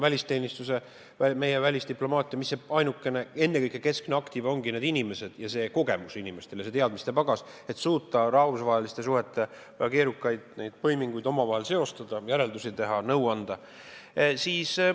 Välisteenistuse, välisdiplomaatia keskne aktiva ongi ennekõike need inimesed ning inimeste kogemused ja teadmiste pagas, et suuta rahvusvaheliste suhete keerukaid põiminguid omavahel seostada, järeldusi teha, nõu anda.